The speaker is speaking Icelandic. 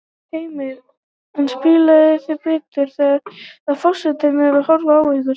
Heimir: En spilið þið betur þegar að forsetinn er að horfa á ykkur?